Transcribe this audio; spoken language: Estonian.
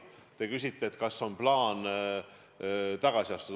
Te küsite, kas mul on plaan tagasi astuda.